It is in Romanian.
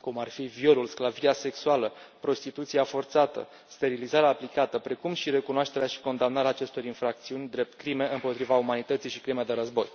cum ar fi violul, sclavia sexuală, prostituția forțată, sterilizarea aplicată și este necesară recunoașterea și condamnarea acestor infracțiuni drept crime împotriva umanității și crime de război.